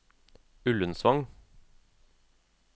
Ullensvang